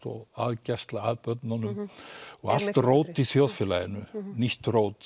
og aðgæslu hjá börnunum og allt rót í samfélaginu nýtt rót